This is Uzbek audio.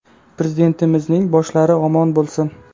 Prezidentimizning boshlari omon bo‘lsin.